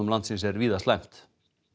landsins er víða slæmt